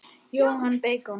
Jóhann: Beikon?